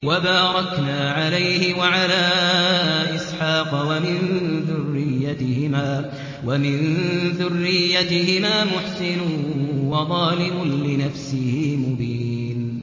وَبَارَكْنَا عَلَيْهِ وَعَلَىٰ إِسْحَاقَ ۚ وَمِن ذُرِّيَّتِهِمَا مُحْسِنٌ وَظَالِمٌ لِّنَفْسِهِ مُبِينٌ